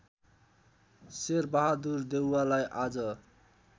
शेरबहादुर देउवालाई आज